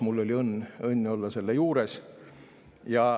Mul oli õnn olla selle juures.